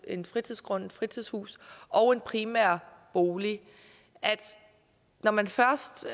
en fritidsgrund et fritidshus og en primær bolig at når man først